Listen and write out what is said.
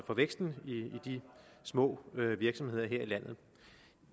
for væksten i de små virksomheder her i landet